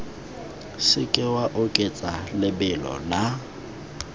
seke wa oketsa lebelo la